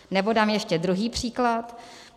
Nebo dám ještě druhý příklad.